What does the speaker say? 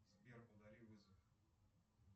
сбер удали вызов